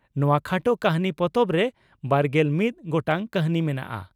ᱱᱚᱣᱟ ᱠᱷᱟᱴᱚ ᱠᱟᱹᱦᱱᱤ ᱯᱚᱛᱚᱵᱨᱮ ᱵᱟᱨᱜᱮᱞ ᱢᱤᱛ ᱜᱚᱴᱟᱝ ᱠᱟᱹᱦᱱᱤ ᱢᱮᱱᱟᱜᱼᱟ ᱾